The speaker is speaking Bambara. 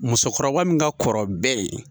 Musokɔrɔba min ka kɔrɔ bɛɛ ye.